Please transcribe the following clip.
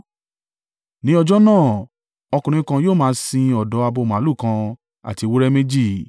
Ní ọjọ́ náà, ọkùnrin kan yóò máa sin ọ̀dọ́ abo màlúù kan àti ewúrẹ́ méjì.